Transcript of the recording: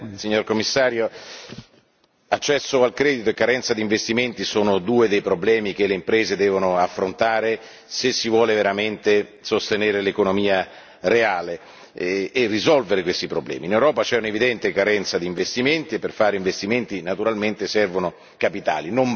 Signor Presidente, onorevoli colleghi, signor Commissario, accesso al credito e carenza di investimenti sono due dei problemi che le imprese devono affrontare se si vuole veramente sostenere l'economia reale e risolvere questi problemi. In Europa c'è un'evidente carenza di investimenti e per fare investimenti, naturalmente, servono capitali.